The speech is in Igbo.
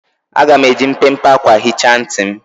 Aga m eji mpempe akwa hichaa ntị m.